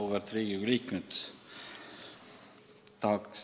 Auväärt Riigikogu liikmed!